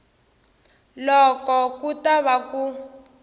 loko ku ta va ku